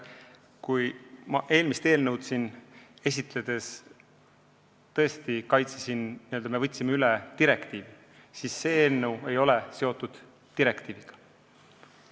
Kui ma eelmist eelnõu siin esitledes tõesti ütlesin, et me võtsime üle direktiivi, siis see eelnõu ei ole seotud direktiiviga.